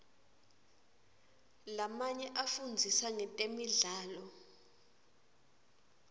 lamanye afundzisa ngetemidlalo